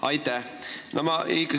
Aitäh!